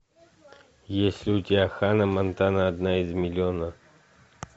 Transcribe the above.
есть ли у тебя ханна монтана одна из миллиона